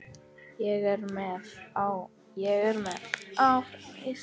Ég er með, áfram Ísland.